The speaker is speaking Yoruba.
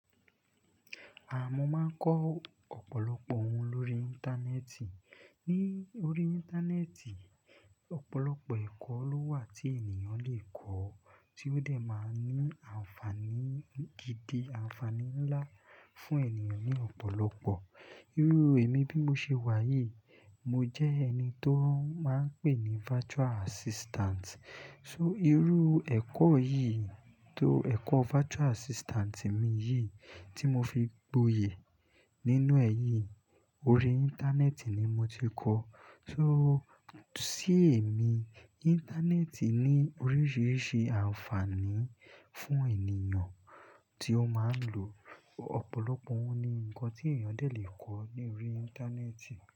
À mọ́ máa ń kọ́ ọ̀pọ̀lọpọ̀ ohun lórí Íńtánẹ́ẹ̀tì. Ní orí Íńtánẹ́ẹ̀tì, ọ̀pọ̀lọpọ̀ ẹ̀kọ́ ló wà tí ènìyàn le kọ́ tí ó dẹ̀ máa ń ní ànfàní gidi, ànfàní ńlá fún ènìyàn ní ọ̀pọ̀lọpọ̀. Irú èmi bí mo ṣe wà yìí, mo jẹ́ ẹni tó máa ń pè ní virtual assistant. So irú ẹ̀kọ́ yìí, tó ẹ̀kọ́ virtual assistant mi yìí tí mo fi gboyè nínú ẹ yí, orí Íńtánẹ́ẹ̀tì ni mo ti kọ́. So sí èmi, Íńtánẹ́ẹ̀tì ní oríṣiríṣi ànfàní fún ènìyàn tí ó máa ń lò ọ̀pọ̀lọpọ̀ ohun ni nǹkan tí ènìyàn dẹ̀ lè kọ́ ní orí Íńtánẹ́ẹ̀tì.